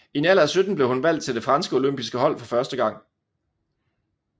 I en alder af 17 blev hun valgt til det franske olympiske hold for første gang